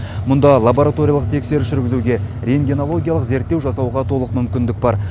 мұнда лабораториялық тексеріс жүргізуге рентгенологиялық зерттеу жасауға толық мүмкіндік бар